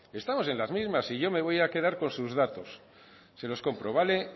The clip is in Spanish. estamos en las mismas y yo me voy a quedar con sus datos se los compro